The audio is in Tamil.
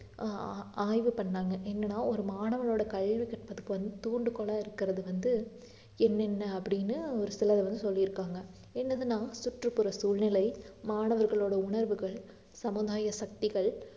ஆஹ் ஆஹ் ஆய்வு பண்ணாங்க என்னன்னா ஒரு மாணவனோட கல்வி கற்பதற்கு வந்து ஒரு தூண்டுகோலா இருக்கிறது வந்து என்னென்ன அப்படின்னு ஒரு சிலர் வந்து சொல்லியிருக்காங்க என்னதுன்னா சுற்றுப்புற சூழ்நிலை, மாணவர்களோட உணர்வுகள், சமுதாய சக்திகள்